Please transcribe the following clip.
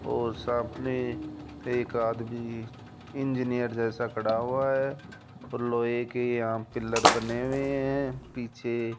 और सामने एक आदमी इंजीनियर जैसा खड़ा हुआ है और लोहे के यहां पिलर बने हुए हैं पीछे --